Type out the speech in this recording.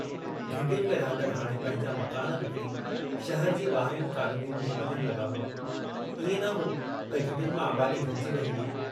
घिटियुनि में रहंदड़ हाणे पंहिंजा मकान विकणी शहर जी बाहिरियुन कॉलोनियुनि में वञण लगा हुआ, इएं न हो, त घिटियुनि मां आबादी घटिजी रही हुई।